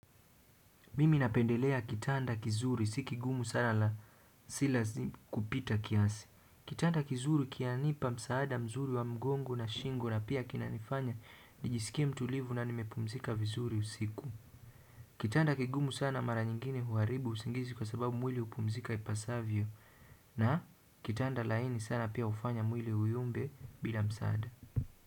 Mimi napendelea kitanda kizuri, si kigumu sana na sila kupita kiasi kitanda kizuri kianipa msaada mzuri wa mgongo na shingo na pia kina nifanya nijisikie mtulivu na nimepumzika vizuri usiku kitanda kigumu sana mara nyingine huaribu usingizi kwa sababu mwili hupumzika ipasavyo na kitanda laini sana pia hufanya mwili uyumbe bila msaada.